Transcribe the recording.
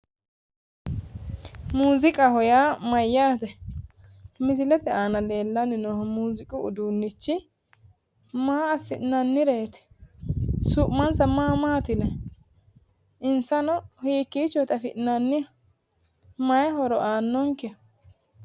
Muuziiqaho yaa mayyaate? misilete aana lellanni noohu muuziiqu uduunnichi maa assi'nannireeti? su'mansa ma maati yinayi? insano hiikiichooti afi'nannihu? mayi horo aannonke?